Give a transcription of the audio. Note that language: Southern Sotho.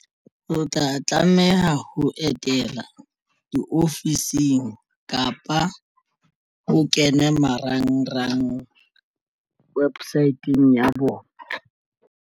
O tla tlameha ho etela diofising kapa ho kene marangrang websit-eng ya bona.